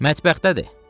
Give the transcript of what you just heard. "Mətbəxdədir."